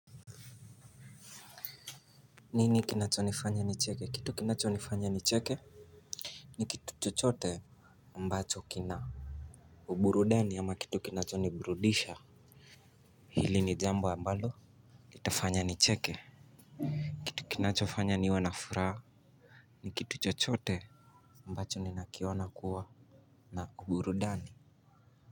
Nini kinachonifanya nicheke? Kitu kinachonifanya nicheke. Ni kitu chochote ambacho kina uburudani ama kitu kinachoniburudisha. Hili ni jambo ambalo iitafanya nicheke. Kitu kinachofanya niwe na furaha. Ni kitu chochote ambacho ninakioana kuwa na uburudani.